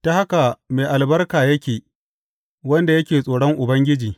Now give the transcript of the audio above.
Ta haka mai albarka yake wanda yake tsoron Ubangiji.